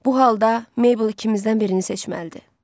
Bu halda Mabel ikimizdən birini seçməlidir.